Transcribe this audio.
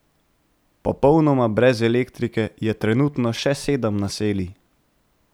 Popolnoma brez elektrike je trenutno še sedem naselij.